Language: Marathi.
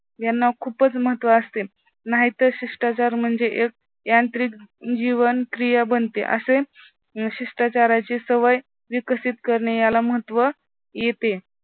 यांना खूपच महत्त्व असते. नाहीतर शिष्टाचार म्हणजे यांत्रिक जीवन क्रिया बनते. असे शिष्टाचाराची सवय विकसित करणे याला महत्त्व येते.